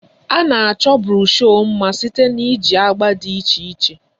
A na-achọ broshu mma site na iji agba dị iche iche